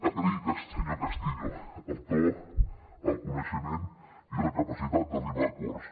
agrair senyor castillo el to el coneixement i la capacitat d’arribar a acords